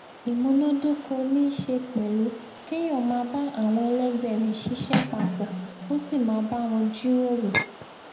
ìmúnádóko ní í ṣe pẹlú kéèyàn máa bá àwọn ẹlẹgbẹ rẹ ṣiṣẹ papò kó sì máa bá wọn jíròrò